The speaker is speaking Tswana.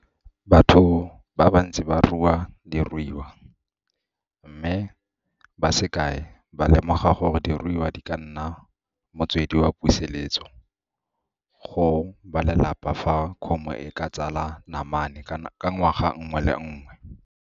Batho ba bantsi ba rua diruiwa, mme ba se kae ba lemoga gore diruiwa di ka nna motswedi wa puseletso go balelapa fa kgomo e ka tsala namane ka ngwaga nngwe le nngwe.